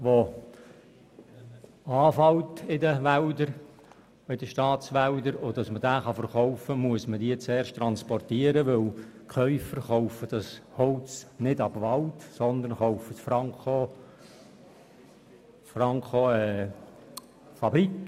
Damit man das Holz verkaufen kann, muss man es zuerst transportieren, denn die Käufer kaufen das Holz nicht ab Wald sondern franko ab Fabrik.